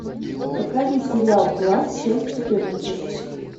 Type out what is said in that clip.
покажи сериал класс часть четырнадцать